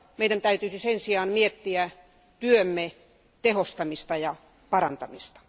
Meidän täytyisi sen sijaan miettiä työmme tehostamista ja parantamista.